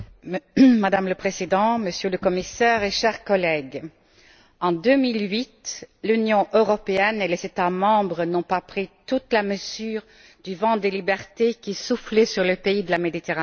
Madame la Présidente, Monsieur le Commissaire, chers collègues, en 2008, l'Union européenne et les États membres n'ont pas pris toute la mesure du vent de liberté qui soufflait sur les pays de la Méditerranée.